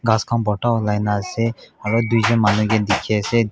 gass khan Barta ulai kina ase aru duijont manu dekhi ase.